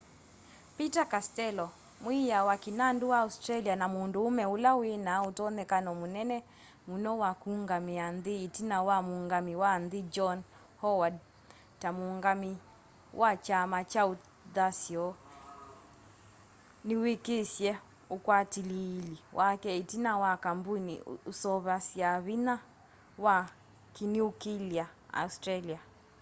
peter castello mwiiya wa kĩnandu wa australia na mũndũũme ũla wĩna ũtonyekano mũnene mũno wa kũũngamĩa nthĩ ĩtina wa muungamĩi wa nthĩ john howard ta mũũngamĩi wa kyama kya ũthasyo nĩwĩkisye ũkwatĩlĩĩli wake ĩtina wa kambũni ũseũvasya vinya wa kĩniũkĩlĩa australia